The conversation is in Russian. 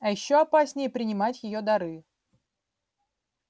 а ещё опаснее принимать её дары